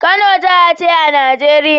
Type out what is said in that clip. Kano jaha ce a Nigeria